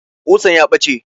Ƙusan ya ɓace